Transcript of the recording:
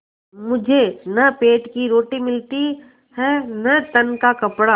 मुझे न पेट की रोटी मिलती है न तन का कपड़ा